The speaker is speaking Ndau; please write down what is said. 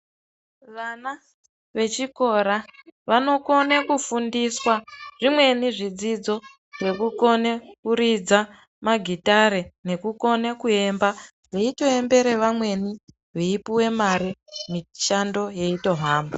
Vana vechikora vanokona kufundiswa zvimweni zvidzidzo zvekukona kuridza magitare nekukuona kuemba veitoembera amweni veipuwa mare mishando yeitohamba.